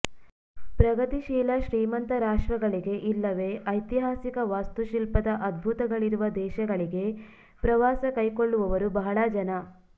ಪ್ರಗತಿಶೀಲ ಶ್ರೀಮಂತ ರಾಷ್ಟ್ರಗಳಿಗೆ ಇಲ್ಲವೇ ಐತಿಹಾಸಿಕ ವಾಸ್ತುಶಿಲ್ಪದ ಅದ್ಭುತಗಳಿರುವ ದೇಶಗಳಿಗೆ ಪ್ರವಾಸ ಕೈಕೊಳ್ಳವವರು ಬಹಳ ಜನ